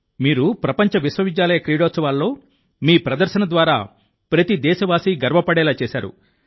మీరు ప్రపంచ విశ్వవిద్యాలయ క్రీడోత్సవాల్లో మీ ప్రదర్శన ద్వారా ప్రతి దేశవాసీ గర్వపడేలా చేశారు